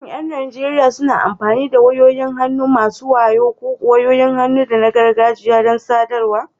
Shin ƴan Najeriya suna amfani da wayoyin hannu masu wayo ko wayoyin hannu na gargajiya don sadarwa?